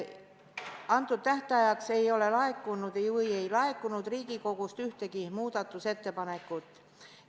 Selleks tähtajaks ei laekunud Riigikogust ühtegi muudatusettepanekut.